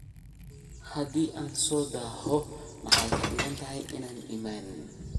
Hadi aan sodaxoo maxay kadinkantaxay inan iimanin.